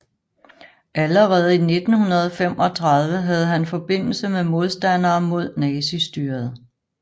Allerede i 1935 havde han forbindelse med modstandere mod nazistyret